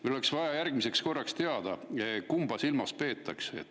Meil oleks vaja järgmiseks korraks teada, kumba silmas peetakse.